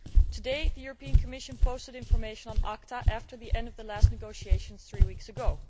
Today, the Commission posted information on ACTA after the end of the last negotiations three weeks ago.